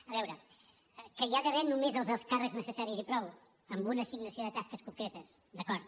a veure que hi ha d’haver només els alts càrrecs necessaris i prou amb una assignació de tasques concretes d’acord